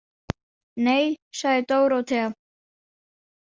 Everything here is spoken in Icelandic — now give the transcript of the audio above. Nei, sagði Dórótea.